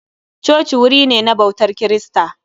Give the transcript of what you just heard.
Coci wuri ne na ɓautar kirista